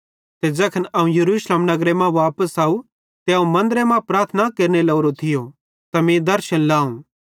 ते ज़ैखन अवं यरूशलेम नगरे मां वापस आव ते अवं मन्दरे मां प्रार्थना केरने लोरो थियो त मीं दर्शन लावं